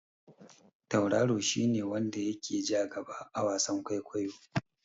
Tauraro shi ne wanda ya ke ja gaba a wasan kwaikwayo.